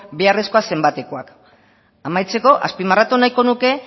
beharrezkoa zenbatekoak amaitzeko azpimarratu nahi nuke